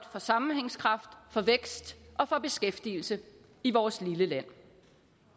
for sammenhængskraft for vækst og for beskæftigelse i vores lille er